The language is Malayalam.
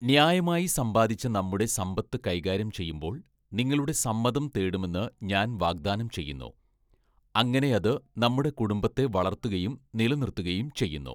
ന്യായമായി സമ്പാദിച്ച നമ്മുടെ സമ്പത്ത് കൈകാര്യം ചെയ്യുമ്പോൾ നിങ്ങളുടെ സമ്മതം തേടുമെന്ന് ഞാൻ വാഗ്ദാനം ചെയ്യുന്നു, അങ്ങനെ അത് നമ്മുടെ കുടുംബത്തെ വളർത്തുകയും നിലനിർത്തുകയും ചെയ്യുന്നു.